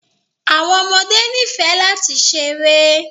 Àwọn ọmọdé ní fẹ́ lati sẹ̀rẹ.